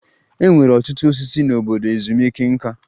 E nwere ọtụtụ osisi n'obodo ezumike nká.